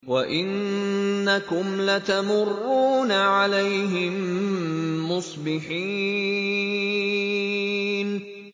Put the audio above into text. وَإِنَّكُمْ لَتَمُرُّونَ عَلَيْهِم مُّصْبِحِينَ